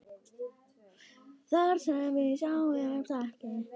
Þar sem við sjáumst ekki.